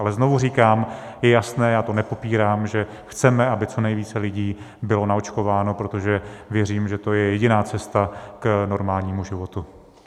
Ale znovu říkám, je jasné, já to nepopírám, že chceme, aby co nejvíce lidí bylo naočkováno, protože věřím, že to je jediná cesta k normálnímu životu.